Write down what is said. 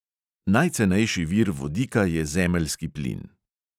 Najcenejši vir vodika je zemeljski plin.